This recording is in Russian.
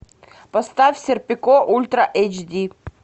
поставь серпико ультра эйч ди